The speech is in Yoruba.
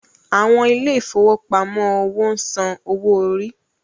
Àwọn ilé ìfowópamọ́ òwò ń san owó orí.